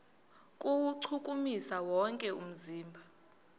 kuwuchukumisa wonke umzimba